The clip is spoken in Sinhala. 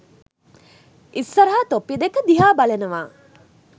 ඉස්සරහ තොප්පි දෙක දිහා බලනවා